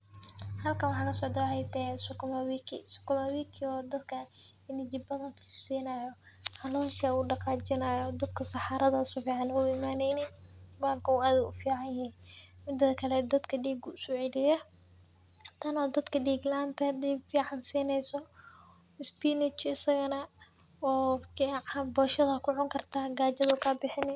Halkan waxaa kasocda waxee tahay sukuma wiki ,sukuma wiki oo dadka energy badan sinayo calosha u daqajinayo dadka saxarada si fican oga imaneynin bahalkan said ayu ogu fican yahay midedha kale dadka diga ayu uso celiya kana dadka dig laanta eh diga uso celineso spinach isagana marka boshaada aya ku cuni karta gajada ayu ka bixini.